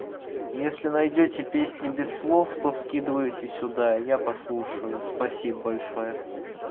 если найдёте песни без слов то скидывайте сюда я послушаю спасибо большое